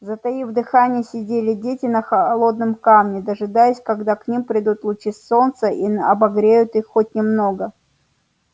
затаив дыхание сидели дети на холодном камне дожидаясь когда и к ним придут лучи солнца и обогреют их хоть немного